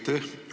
Aitäh!